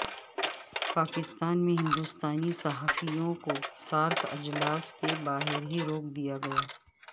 پاکستان میں ہندوستانی صحافیوں کو سارک اجلاس کے باہر ہی روک دیا گیا